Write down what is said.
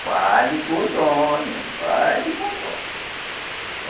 Fale com o dono, fale com o dono.